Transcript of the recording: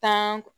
Tan